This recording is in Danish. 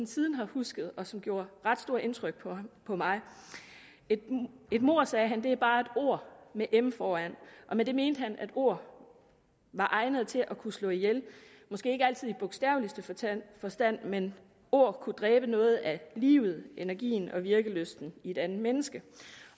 siden har husket og som gjorde ret stort indtryk på på mig et mord sagde han er bare et ord med m foran og med det mente han at ord var egnede til at kunne slå ihjel måske ikke altid i bogstaveligste forstand forstand men ord kunne dræbe noget af livet energien og virkelysten i et andet menneske